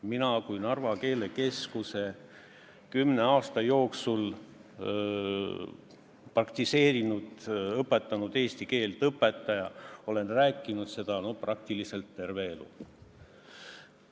Mina kui Narva keelekeskuses kümne aasta jooksul praktiseerinud eesti keele õpetaja olen rääkinud seda peaaegu terve elu.